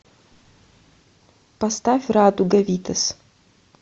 поставь радуга витас